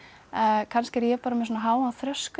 kannski er ég bara með svona háan þröskuld